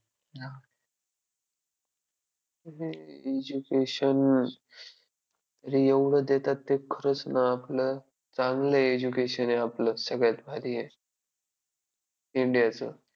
education अरे एवढं देतात ते खरंच ना आपलं चांगलं education आहे आपलं सगळ्यात भारी आहे. India च!